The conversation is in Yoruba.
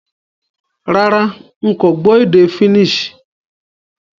Rárá, n ko gbó édé Finnish